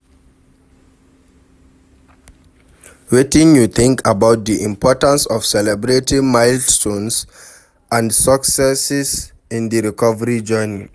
Wetin you think about di importance of celebrating milestones and successes in di recovery journey?